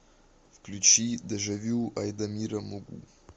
включи дежавю айдамира мугу